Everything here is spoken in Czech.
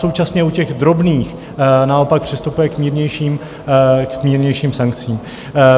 Současně u těch drobných naopak přistupuje k mírnějším sankcím.